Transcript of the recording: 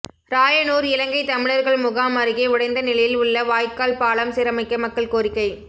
ராயனூர் இலங்கை தமிழர்கள் முகாம் அருகே உடைந்த நிலையில் உள்ள வாய்க்கால் பாலம் சீரமைக்க மக்கள் கோரிக்கை